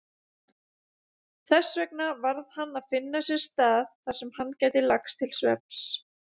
Þessvegna varð hann að finna sér stað þarsem hann gæti lagst til svefns.